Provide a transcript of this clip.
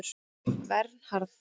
Vernharð